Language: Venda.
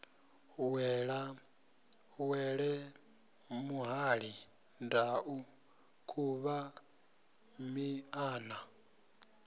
wele muhali ndau khuvha miṱana